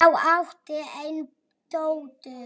Þau áttu eina dóttur.